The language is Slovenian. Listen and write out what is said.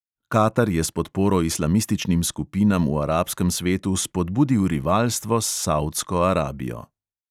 Katar je s podporo islamističnim skupinam v arabskem svetu spodbudil rivalstvo s savdsko arabijo.